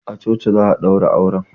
A coci za a ɗaura auren.